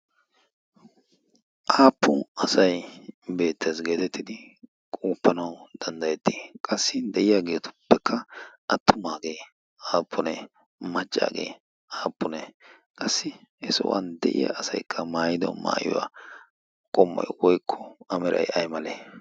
Appu asay beetees getetidi qopananawu danddayeti? Qassi deiyagetuppe attumage appune? Maccage appune? Qassi he sohuwankka deiya asay maayido maayuwa qommoy woykko a meray aymale?